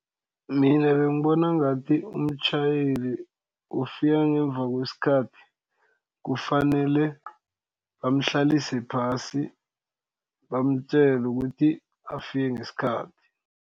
Mina bengibona ngathi umtjhayeli ofika ngemva kwesikhathi kufanele bamhlalise phasi bamtjele ukuthi afike ngesikhathi.